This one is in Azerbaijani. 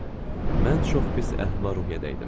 Mən çox pis əhval-ruhiyyədə idim.